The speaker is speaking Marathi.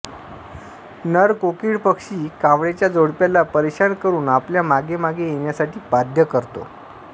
नर कोकीळ पक्षी कावळ्याच्या जोडप्याला परेशान करून आपल्या मागेमागे येण्यासाठी बाध्य करतो